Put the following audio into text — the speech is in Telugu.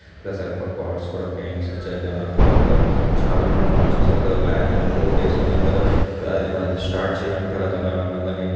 ప్లస్ అటు పక్క గాడ్స్ కూడా పెన్స్ ఇచ్చారు. జనాలు కూడా అక్కడ చాలామంది ఉన్నారు. చూశారు కదా. బ్లాక్ కలర్ కోట్ వేసుకొని అందరు అది మరి స్టార్ట్ చేయడానికి అలా జనాలను అందరినీ--